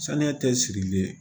Sanuya tɛ sirilen ye